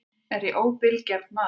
Er ég óbilgjarn maður Björn?